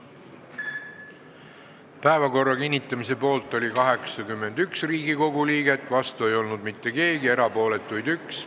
Hääletustulemused Päevakorra kinnitamise poolt oli 81 Riigikogu liiget, vastu ei olnud mitte keegi, erapooletuid oli üks.